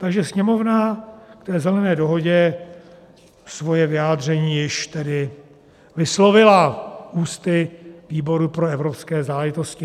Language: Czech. Takže Sněmovna k té Zelené dohodě svoje vyjádření již tedy vyslovila ústy výboru pro evropské záležitosti.